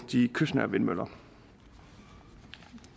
de kystnære vindmøller